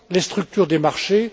les structures des marchés